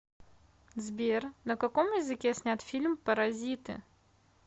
сбер на каком языке снят фильм паразиты